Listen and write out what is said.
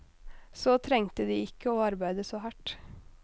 Så trengte de ikke å arbeide så hardt.